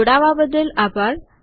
જોડવા બદલ આભાર